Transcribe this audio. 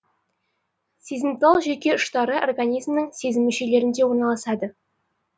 сезімтал жүйке ұштары организмнің сезім мүшелерінде орналасады